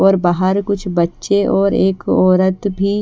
और बाहर कुछ बच्चे और एक औरत भी--